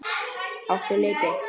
Áttu liti?